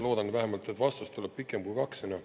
Loodan vähemalt, et vastus tuleb pikem kui kaks sõna.